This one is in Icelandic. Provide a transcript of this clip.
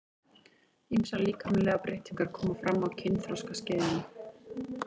Ýmsar líkamlegar breytingar koma fram á kynþroskaskeiðinu.